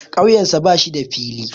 Ƙauyensa ba shi da fili.